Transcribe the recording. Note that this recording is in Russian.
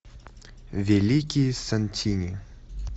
великие сантини